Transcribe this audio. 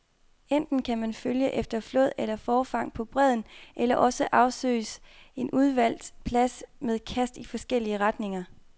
Enten kan man følge efter flåd eller forfang på bredden, eller også afsøges en udvalgt plads med kast i forskellige retninger.